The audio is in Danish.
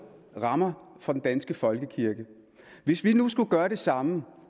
rammer for den danske folkekirke hvis vi nu skulle gøre det samme